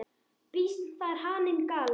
Býsn þar haninn galar.